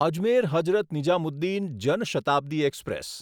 Ajmer Hazrat Nizamuddin Jan Shatabdi express